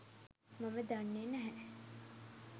මම දන්නෙ නැහැ.